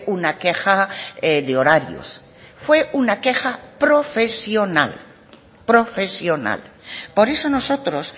una queja de horarios fue una queja profesional profesional por eso nosotros